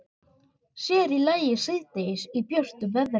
Sér í lagi síðdegis í björtu veðri.